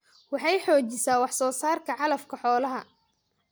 Waxay xoojisaa wax soo saarka calafka xoolaha.